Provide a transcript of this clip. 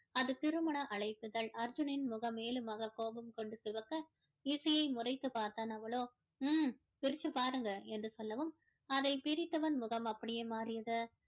அது திருமண அழைப்பிதழ் அர்ஜுனின் முகம் மேலுமாக கோபம் கொண்டு சிவக்க இசையை முறைத்து பார்த்தான் அவளோ ஹம் பிரித்து பாருங்க என்று சொல்லவும் அதை பிரித்தவன் முகம் அப்படியே மாறியது